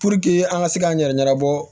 Puruke an ka se k'an yɛrɛ ɲɛnabɔ